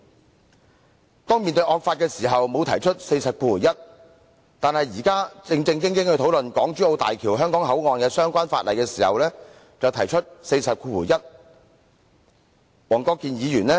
黃國健議員面對惡法時沒有引用第401條，但現在其他議員要正正經經討論港珠澳大橋香港口岸的相關附屬法例時，他卻引用第401條。